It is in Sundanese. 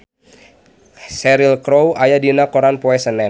Cheryl Crow aya dina koran poe Senen